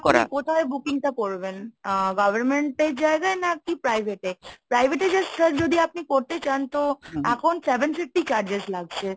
কোথায় booking টা করবেন? আ government এর জায়গায় নাকি private এ ? private এ যে sir যদি আপনি করতে চান এখন তো seven fifty charges লাগছে।